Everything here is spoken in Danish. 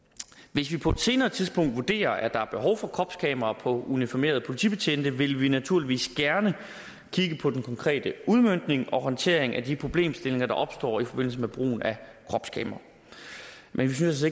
vi på et senere tidspunkt vurderer at der er behov for kropskameraer på uniformerede politibetjente vil vi naturligvis gerne kigge på den konkrete udmøntning og håndtering af de problemstillinger der opstår i forbindelse med brugen af kropskamera men vi synes